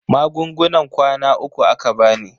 Magungunan kwana uku aka bani.